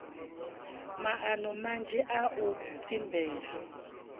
maano manzhi a u tsimbela